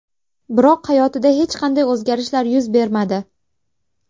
Biroq hayotida hech qanday o‘zgarishlar yuz bermadi.